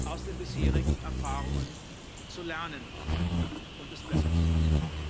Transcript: aus den bisherigen Erfahrungen zu lernen und es besser zu machen.